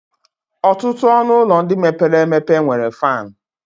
Ọtụtụ ọnụ ụlọ ndị mepere emepe nwere fan.